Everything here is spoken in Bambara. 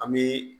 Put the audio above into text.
An bɛ